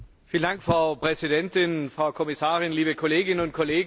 Frau Präsidentin, Frau Kommissarin, liebe Kolleginnen und Kollegen!